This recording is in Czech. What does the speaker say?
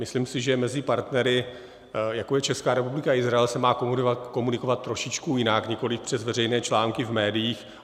Myslím si, že mezi partnery, jako je Česká republika a Izrael, se má komunikovat trošičku jinak, nikoliv přes veřejné články v médiích.